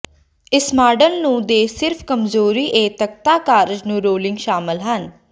ਇਸ ਮਾਡਲ ਨੂੰ ਦੇ ਸਿਰਫ ਕਮਜ਼ੋਰੀ ਇਹ ਤਖ਼ਤਾ ਕਾਰਜ ਨੂੰ ਰੋਲਿੰਗ ਸ਼ਾਮਲ ਹਨ